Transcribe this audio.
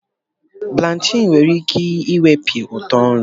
Blachin nwere ike iwepi utọ nri.